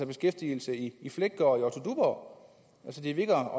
beskæftigelse i fleggaard og i otto duborg det virker